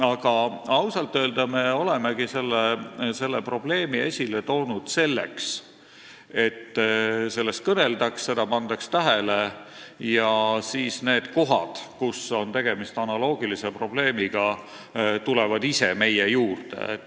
Aga ausalt öelda me olemegi selle probleemi esile toonud selleks, et sellest kõneldaks ja seda pandaks tähele ning et siis need kohad, kus on tegemist analoogilise probleemiga, ise esile tuleksid.